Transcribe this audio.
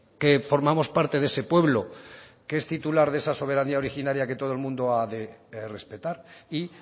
que formamos parte de ese pueblo que es titular de esa soberanía originaria que todo el mundo ha de respetar y